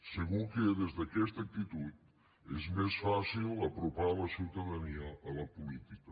segur que des d’aquesta actitud és més fàcil apropar la ciutadania a la política